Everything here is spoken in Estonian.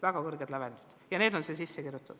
Väga kõrged lävendid ja need on eelnõusse sisse kirjutatud.